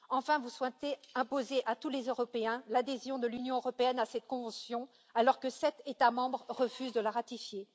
Enfin, vous souhaitez imposer à tous les Européens l'adhésion de l'Union européenne à cette convention alors que sept États membres refusent de la ratifier.